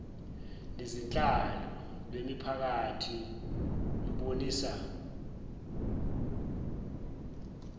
nezenhlalo lwemiphakathi lubonisa